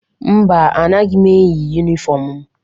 Mba, anaghị m eyi yunifọmụ m.